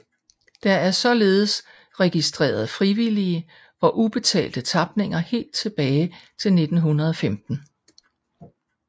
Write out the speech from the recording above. Der er således registreret frivillige og ubetalte tapninger helt tilbage til 1915